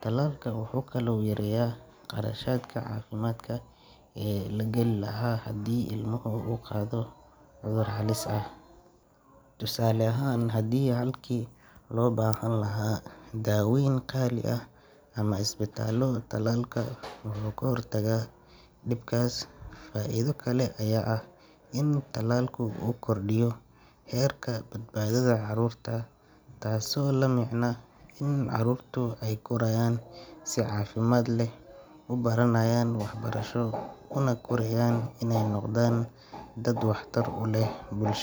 Tallaalka wuxuu kaloo yareeyaa kharashaadka caafimaad ee la gali lahaa haddii ilmaha uu qaado cudur halis ah. Tusaale ahaan, halkii loo baahan lahaa daaweyn qaali ah ama isbitaallo, tallaalka wuxuu ka hortagaa dhibkaas. Faa’iido kale ayaa ah in tallaalku uu kordhiyo heerka badbaadada caruurta, taasoo la micno ah in caruurtu ay korayaan si caafimaad leh, u baranayaan waxbarasho una koreyaan inay noqdaan dad waxtar u leh bulsho.